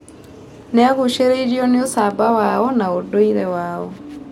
Nĩ aagucĩrĩirio nĩ ũcamba wao na ũndũire wao.